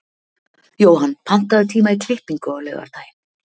Jóhann, pantaðu tíma í klippingu á laugardaginn.